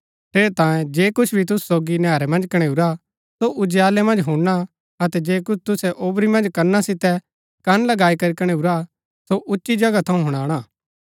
ठेरैतांये जे कुछ भी तुसु सोगी नैहरै मन्ज कणैऊरा सो उजालै मन्ज हुणना अतै जे कुछ तुसै औवरी मन्ज कना सितै कन लगाई करी कणैऊरा सो उच्ची जगहा थऊँ हुणाणा